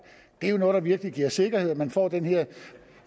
det er jo noget der virkelig giver sikkerhed man får den her